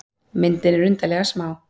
Myndin er undarlega smá.